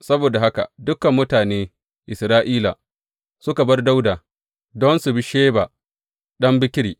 Saboda haka dukan mutane Isra’ila suka bar Dawuda don su bi Sheba ɗan Bikri.